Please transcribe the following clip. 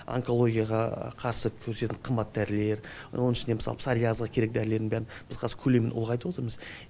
онкологияға қарсы күресетін қымбат дәрілер оның ішінде мысалы псориазға керек дәрілердің бәрін біз қазір көлемін ұлғайтып отырмыз